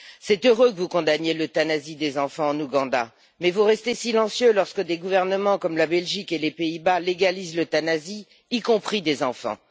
C'est heureux que vous condamniez l'euthanasie des enfants en Ouganda mais vous restez silencieux lorsque des gouvernements comme la Belgique et les Pays Bas légalisent l'euthanasie, y compris des enfants.